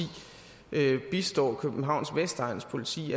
bistår københavns vestegns politi